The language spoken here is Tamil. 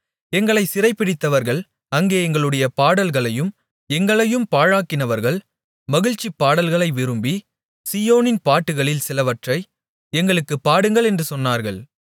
எங்களைச் சிறைபிடித்தவர்கள் அங்கே எங்களுடைய பாடல்களையும் எங்களையும் பாழாக்கினவர்கள் மகிழ்ச்சி பாடல்களை விரும்பி சீயோனின் பாட்டுகளில் சிலவற்றை எங்களுக்குப் பாடுங்கள் என்று சொன்னார்கள்